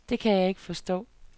Det kan jeg ikke forstå.